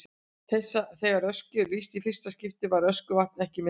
Þegar Öskju er lýst í fyrsta skipti var Öskjuvatn ekki myndað.